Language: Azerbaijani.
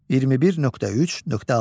21.3.6.